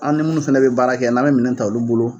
An ni munnu fɛnɛ bɛ baara kɛ n'a bɛ minɛ ta olu bolo.